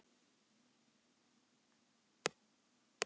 Það var leikið í forkeppni Meistaradeildarinnar í kvöld.